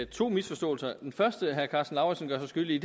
to misforståelser den første herre karsten lauritzen gør sig skyldig i